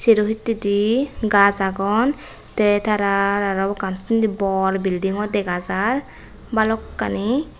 do hetadi gas agon ta tara aro akkan oni bor building dega jer balukani.